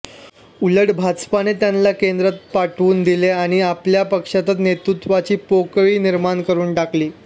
उलट भाजपाने त्यांना केंद्रातच पाठवून दिले आणि आपल्या पक्षातच नेतृत्वाची पोकळी निर्माण करून टाकली